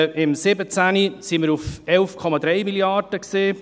Im Jahr 2017 waren wir bei 11,3 Mrd. Franken.